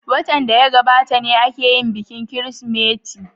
Watan da ya gabata ne aka yi bikin Kirsimeti.